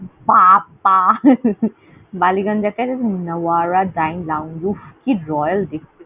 পা পা বালি গঙ্গ কি royale দেখতে।